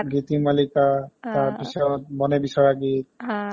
গীতিমালীকা আ তাৰপিছত মনে বিচৰা গীত